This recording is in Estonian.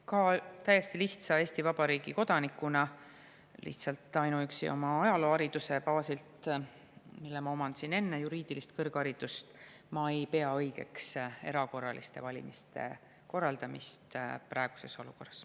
Ka täiesti lihtsa Eesti Vabariigi kodanikuna, lihtsalt ainuüksi oma ajaloohariduse baasilt, mille ma omandasin enne juriidilist kõrgharidust, ma ei pea õigeks erakorraliste valimiste korraldamist praeguses olukorras.